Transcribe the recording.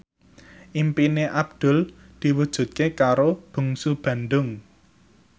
impine Abdul diwujudke karo Bungsu Bandung